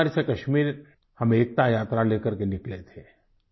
कन्याकुमारी से कश्मीर हम एकता यात्रा लेकर निकले थे